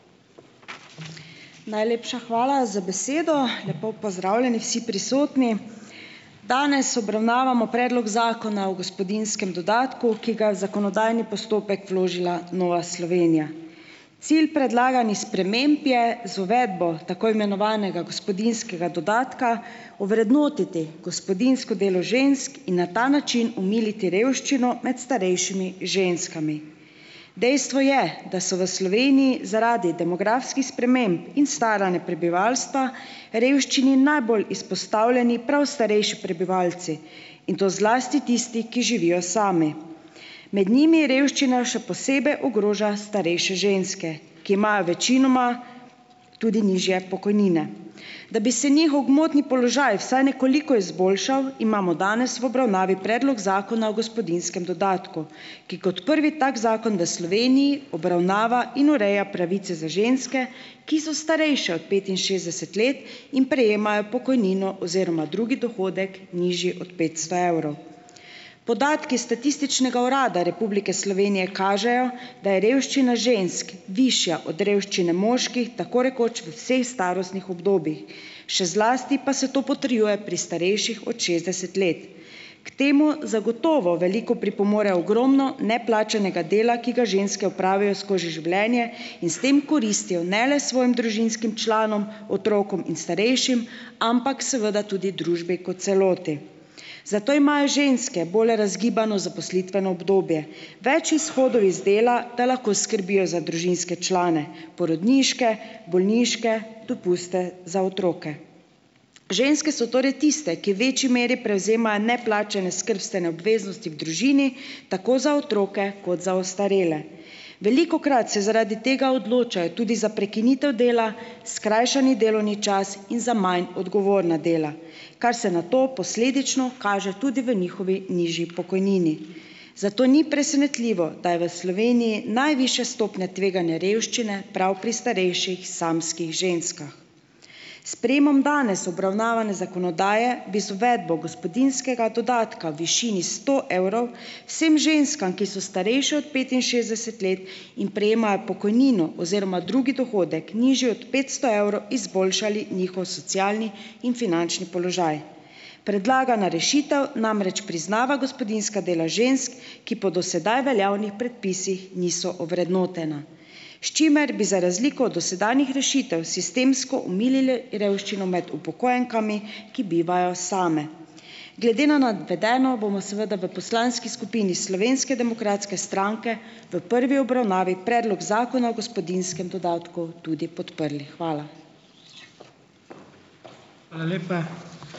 Najlepša hvala za besedo. Lepo pozdravljeni vsi prisotni! Danes obravnavamo predlog Zakona o gospodinjskem dodatku, ki ga zakonodajni postopek vložila Nova Slovenija. Cilj predlaganih sprememb je z uvedbo tako imenovanega gospodinjskega dodatka ovrednotiti gospodinjsko delo žensk in na ta način omiliti revščino med starejšimi ženskami. Dejstvo je, da so v Sloveniji zaradi demografskih sprememb in staranja prebivalstva revščini najbolj izpostavljeni prav starejši prebivalci in to zlasti tisti, ki živijo sami. Med njimi je revščina še posebej ogroža starejše ženske, ki imajo večinoma tudi nižje pokojnine. Da bi se njihov gmotni položaj vsaj nekoliko izboljšal, imamo danes v obravnavi predlog Zakona o gospodinjskem dodatku, ki kot prvi tak zakon v Sloveniji obravnava in ureja pravice za ženske, ki so starejše od petinšestdeset let in prejemajo pokojnino oziroma drugi dohodek, nižji od petsto evrov. Podatki Statističnega urada Republike Slovenije kažejo, da je revščina žensk višja od revščine moških tako rekoč v vseh starostnih obdobjih, še zlasti pa se to potrjuje pri starejših od šestdeset let. K temu zagotovo veliko pripomore ogromno neplačanega dela, ki ga ženske opravijo skozi življenje in s tem koristijo ne le svojim družinskim članom, otrokom in starejšim, ampak seveda tudi družbi kot celoti, zato imajo ženske bolj razgibano zaposlitveno obdobje. Več izhodov iz dela, da lahko skrbijo za družinske člane, porodniške, bolniške, dopuste za otroke. Ženske so torej tiste, ki v večji meri prevzemajo neplačane skrbstvene obveznosti v družini tako za otroke kot za ostarele. Velikokrat se zaradi tega odločajo tudi za prekinitev dela, skrajšani delovni čas in za manj odgovorna dela, kar se nato posledično kaže tudi v njihovi nižji pokojnini, zato ni presenetljivo, da je v Sloveniji najvišja stopnja tveganja revščine prav pri starejših samskih ženskah. S sprejemom danes obravnavane zakonodaje bi z uvedbo gospodinjskega dodatka višini sto evrov vsem ženskam, ki so starejše od petinšestdeset let in prejemajo pokojnino oziroma drugi dohodek, nižji od petsto evrov, izboljšali njihov socialni in finančni položaj. Predlagana rešitev namreč priznava gospodinjska dela žensk, ki po do sedaj veljavnih predpisih niso ovrednotena. S čimer bi za razliko od dosedanjih rešitev sistemsko omilili revščino med upokojenkami, ki bivajo same. Glede na navedeno bomo seveda v poslanski skupini Slovenske demokratske stranke v prvi obravnavi predlog Zakona o gospodinjskem dodatku tudi podprli. Hvala.